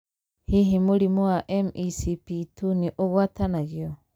Hihi mũrimũ wa MECP2 nĩ ũgwatanagio?